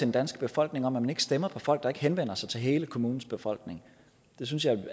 danske befolkning om at man ikke stemmer på folk der ikke henvender sig til hele kommunens befolkning det synes jeg er et